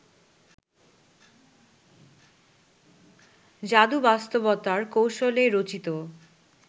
জাদুবাস্তবতার কৌশলে রচিত